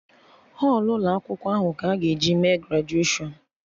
Họlụ ụkọ akwụkwọ ahụ ka a ga-eji mee grajuashọn